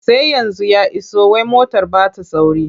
Sai yanzu ya iso wai motar ba ta sauri.